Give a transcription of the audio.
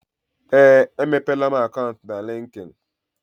Ee, emepeela m akant na likin.